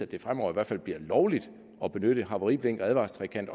det fremover i hvert fald bliver lovligt at benytte havariblink og advarselstrekant